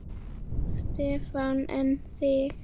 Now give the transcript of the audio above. Stefán: En þig?